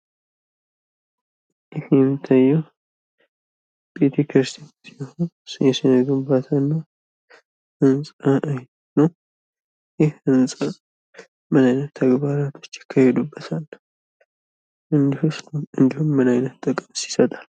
ይህ የሚታየው ቤተክርስቲያን ሲሆን በግንባታ እና በህንፃ ላይ ነው። ይህ ህንፃ ምን ምን ተግባሮች ይካሄዱበታል እንዲሁስ ምን አይነት ጥቅም ይሰጣል?